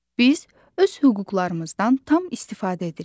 Biz öz hüquqlarımızdan tam istifadə edirik.